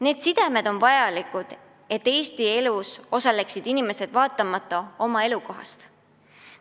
Need sidemed on vajalikud, et Eesti inimesed osaleksid Eesti elus olenemata oma elukohast.